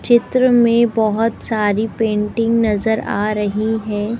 चित्र मे बहोत सारी पेंटिंग नजर आ रही है।